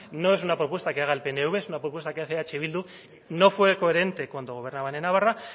no es una propuesta que haga el pnv es una propuesta que hace eh bildu no fue coherente cuando gobernaban en navarra